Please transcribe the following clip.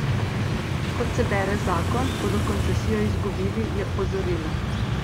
Kot se bere zakon, bodo koncesijo izgubili, je opozorila.